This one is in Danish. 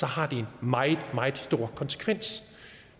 har en meget meget stor konsekvens